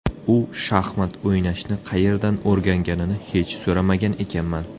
U shaxmat o‘ynashni qayerdan o‘rganganini hech so‘ramagan ekanman.